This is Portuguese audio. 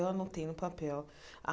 Eu anotei no papel.